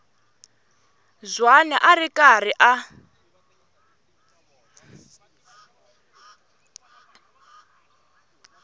zwane a ri karhi a